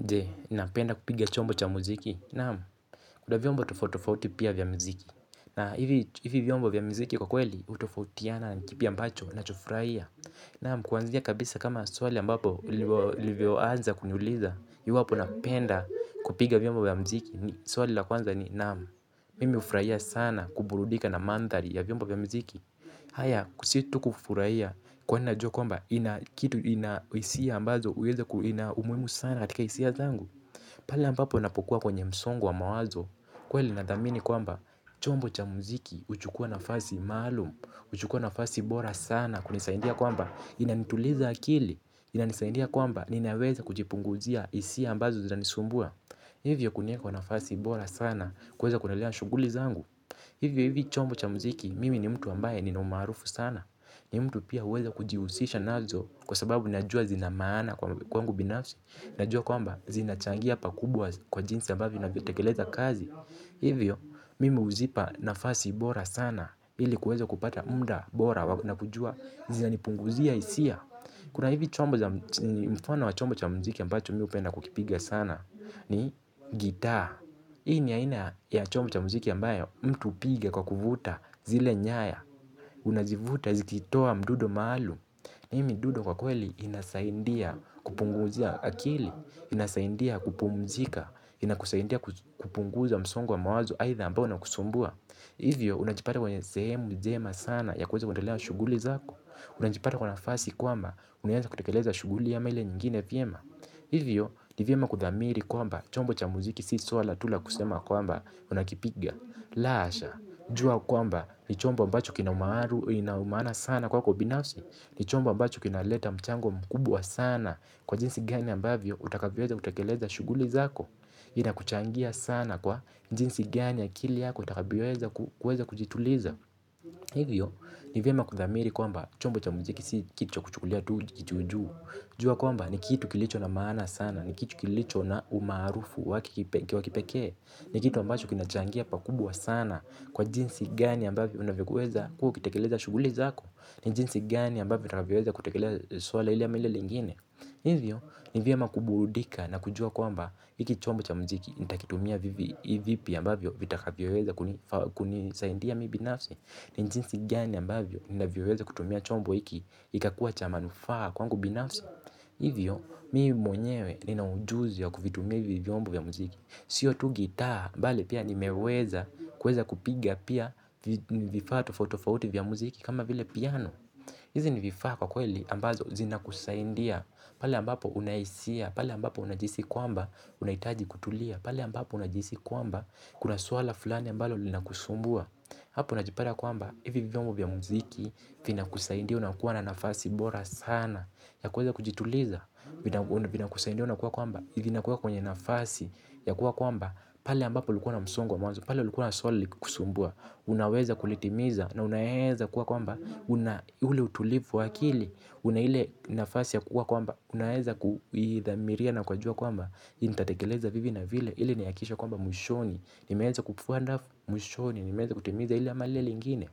Je, unapenda kupiga chombo cha muziki? Naam, kuna vyombo tofauti tofauti pia vya muziki. Na hivi vyombo vya muziki kwa kweli utofautiana na kipi ambacho unachofurahia? Naam, kuanzia kabisa kama swali ambapo ulivyoanza kuniuliza iwapo napenda kupiga vyombo vya muziki. Swali la kwanza ni, naam, mimi ufurahia sana kuburudika na mandhari ya vyombo vya muziki. Haya, sio tu kufurahia kwani na juwa kwamba ina kitu ina hisia ambazo uweza kuwa na umuhimu sana katika hisia zangu pale ambapo ninapokuwa kwenye msongo wa mawazo kweli nadhamini kwamba chombo cha muziki huchukua nafasi maalum uchukua nafasi bora sana kunisaidia kwamba inanituliza akili ina nisaidia kwamba ninaweza kujipunguzia hisia ambazo zinanisumbua hivyo kunieka kwa nafasi bora sana kuweza kuendelea na shughuli zangu hivyo hivyo chombo cha muziki mimi ni mtu ambaye nina umaarufu sana ni mtu pia uweza kujiusisha nazo. Kwa sababu ninajua zina maana kwangu binafsi. Najua kwamba zinachangia pakubwa kwa jinsi ambavyo ninatekeleza kazi. Hivyo, mimi huzipa nafasi bora sana ili kuweza kupata muda bora na kujua zinanipunguzia hisia. Kuna hizi chombo cha, mfano wa chombo cha mziki ambacho mimi hupenda kukipiga sana. Ni gitaa. Hii ni aina ya chombo cha muziki ambayo mtu hupiga kwa kuvuta zile nyaya. Unazivuta zikitoa mdundo maalum. Hii mdundo kwa kweli inasaidia kupunguzia akili, inasaidia kupumzika, inakusaidia kupunguza msongo wa mawazo aidha ambayo ina kusumbua. Hivyo, unajipata kwenye sehemu njema sana ya kuweza kuendelea na shughuli zako. Unajipata kwa nafasi kwamba, unaeza kutekeleza shughuli ama ile nyingine vyema. Hivyo, ni vyema kudhamiri kwamba, chombo cha muziki si swala tu la kusema kwamba, unakipiga. La hasha, jua kwamba, ni chombo ambacho kina umaana sana kwako binasi. Ni chombo ambacho kinaleta mchango mkubwa sana kwa jinsi gani ambavyo utakavyoweza kutekeleza shughuli zako. Inakuchangia sana kwa jinsi gani akili yako itakavyoweza kujituliza. Hivyo ni vyema kudhamiri kwamba chombo cha muziki si kitu cha kuchukulia tu juju. Jua kwamba ni kitu kilicho na maana sana, ni kitu kilicho na umaarufu wake kipekee. Ni kitu ambacho kina changia pakubwa sana kwa jinsi gani ambavyo unavyoweza kuwa ukitekeleza shughuli zako. Ni jinsi gani ambavyo tunavyoweza kutekeleza swala ili ama lile lingine. Hivyo ni vyema kuburudika na kujua kwamba hiki chombo cha muziki. Nitakitumia vipi ambavyo vitakavyoweza kunisaidia mimi binafsi. Ni jinsi gani ambavyo ninvyoweza kutumia chombo hiki kikakuwa cha manufaa kwangu binafsi. Hivyo mimi mwenyewe nina ujuzi wa kuvitumia hivi vyombo vya muziki. Sio tu gitaa bali pia nimeweza kuweza kupiga pia vifaa tofauti tofauti vya muziki kama vile piano. Hizi ni vifaa kwa kweli ambazo zina kusaidia, pale ambapo unahisia, pale ambapo unajihisi kwamba unaitaji kutulia, pale ambapo unajihisi kwamba kuna swala fulani ambalo lina kusumbua, hapo unajipata kwamba hivi vyombo vya muziki vina kusaidia unakuwa na nafasi bora sana, ya kuweza kujituliza vina kusaidia unakuwa kwamba vina kuweka kwenye nafasi, ya kuwa kwamba pale ambapo ulikuwa na msongo wa mawazo, pale ulikuwa na suala likikusumbua, unaweza kulitimiza na unaeza kuwa kwamba ule utulivu wa akili. Una ile nafasi ya kuwa kwamba unaeza kuidhamiria na kujua kwamba hiki nitatekeleza vivi na vile. Hili nihakikishe kwamba mwishoni nimeeza kufua dafu mwishoni. Nimeeza kutimiza hili ama lile lingine.